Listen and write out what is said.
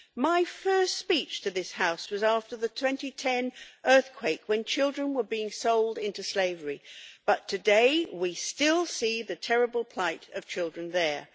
My first speech to this House was after the 2010 earthquake, when children were being sold into slavery. But today we still see the terrible plight of children there.